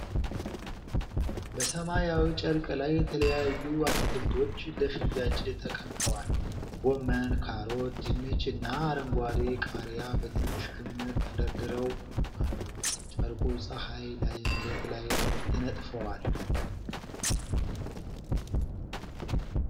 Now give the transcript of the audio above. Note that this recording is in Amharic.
በሰማያዊ ጨርቅ ላይ የተለያዩ አትክልቶች ለሽያጭ ተቀምጠዋል። ጎመን፣ ካሮት፣ ድንች እና አረንጓዴ ቃሪያ በትንሽ ክምር ተደርድረው አሉ። ጨርቁ ፀሐይ ላይ መሬት ላይ ተነጥፏል።